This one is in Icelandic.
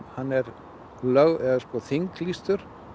hann er þinglýstur